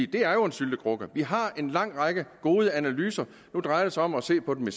det er jo en syltekrukke vi har en lang række gode analyser nu drejer det sig om at se på det